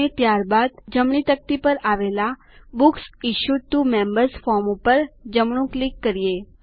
અને ત્યારબાદ જમણી તકતી પર આવેલા books issued to members form ઉપર જમણું ક્લિક કરો